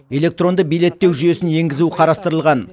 электронды билеттеу жүйесін енгізу қарастырылған